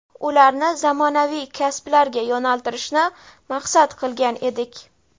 ularni zamonaviy kasblarga yo‘naltirishni maqsad qilgan edik.